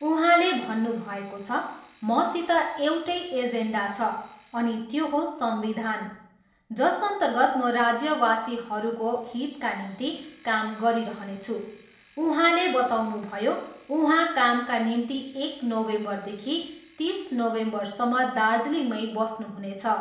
उहाँले भन्नुभएको छ, मसित एउटै एजेन्डा छ, अनि त्यो हो संविधान, जसअर्न्तगत म राज्यवासीहरूको हितका निम्ति काम गरिरहनेछु। उहाँले बताउनुभयो, उहाँ कामका निम्ति एक नोभेम्बरदेखि तिस नोभेम्बरसम्म दार्जिलिङमै बस्नुहुनेछ।